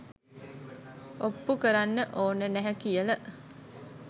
ඔප්පු කරන්න ඕන නැහැ කියල.